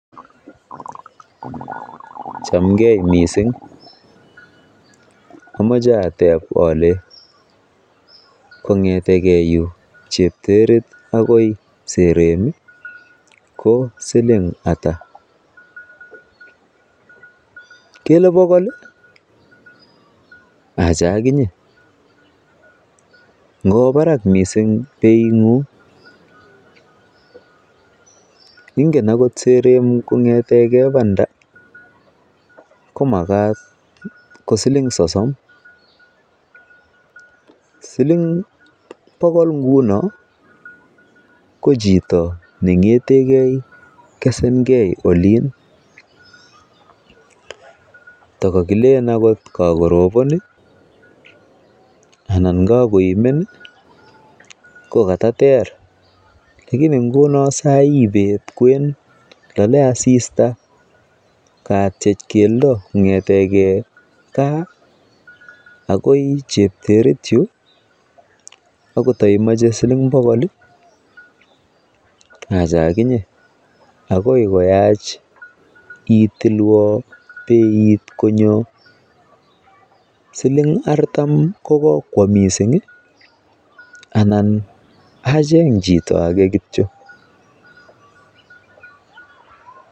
Chamgee missing amoche ateb ale kongeteke yu chepterit akoi sereni ko siling ata ?kele bogol ii! acha akinye ngowo barak missing beingung ,ingen ako sereni kongeteke bandaa mkomakat ko siling sosom, siling bogol nguno ko chito neng'eten kesengee olin ndakakilen oot kakorobon anan kakoimen ii kokatater lakini ngunon saii bet kwen lolee asista kaatyech keldoo kong'eten gaa akoi cheterit yu ako toimoche siling bodol acha aginyee akoi koyach itilwa teit konyo siling artam kokokwo missing ii anan acheng chito ake kityok .